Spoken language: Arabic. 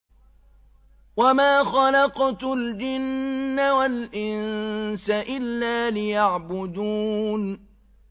وَمَا خَلَقْتُ الْجِنَّ وَالْإِنسَ إِلَّا لِيَعْبُدُونِ